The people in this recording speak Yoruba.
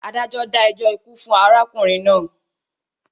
Adájọ́ dá ẹjọ́ ikú fún arákùnrin náà.